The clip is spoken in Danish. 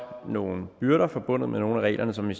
nogle byrder forbundet med nogle af reglerne som vi